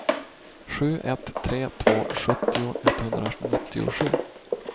sju ett tre två sjuttio etthundranittiosju